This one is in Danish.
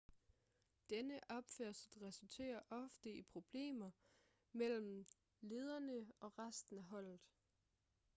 denne opførsel resulterer ofte i problemer mellem lederne og resten af holdet